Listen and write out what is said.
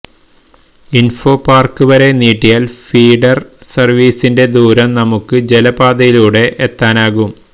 ഇൻഫോപാർക് വരെ നീട്ടിയാൽ ഫീഡർ സർവ്വീസിന്റെ ദൂരം നമുക്ക് ജലപാതയിലൂടെ എത്താനാകും